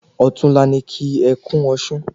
Òtún la ni ki é kún osùn